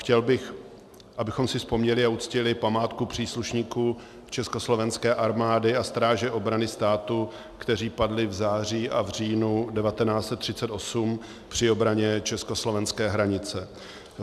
Chtěl bych, abychom si vzpomněli a uctili památku příslušníků Československé armády a Stráže obrany státu, kteří padli v září a v říjnu 1938 při obraně československé hranice.